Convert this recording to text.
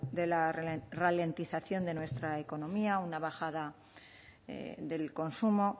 de la ralentización de nuestra economía una bajada del consumo